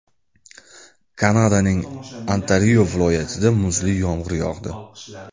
Kanadaning Ontario viloyatida muzli yomg‘ir yog‘di.